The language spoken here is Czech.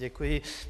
Děkuji.